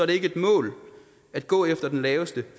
det ikke et mål at gå efter den laveste